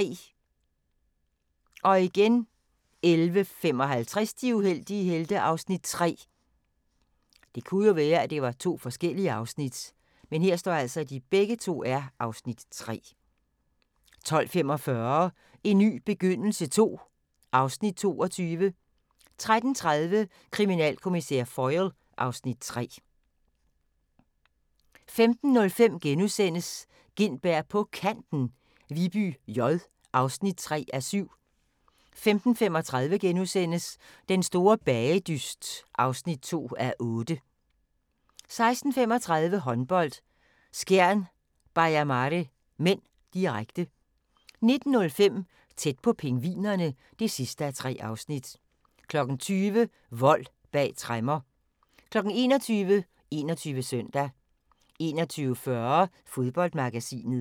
11:55: De uheldige helte (Afs. 3) 12:45: En ny begyndelse II (Afs. 22) 13:30: Kriminalkommissær Foyle (Afs. 3) 15:05: Gintberg på Kanten - Viby J (3:7)* 15:35: Den store bagedyst (2:8)* 16:35: Håndbold: Skjern-Baia Mare (m), direkte 19:05: Tæt på pingvinerne (3:3) 20:00: Vold bag tremmer 21:00: 21 Søndag 21:40: Fodboldmagasinet